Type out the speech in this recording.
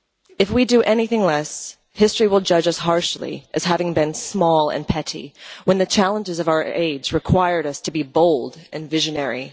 If we do anything less, history will judge us harshly as having been small and petty when the challenges of our age required us to be bold and visionary.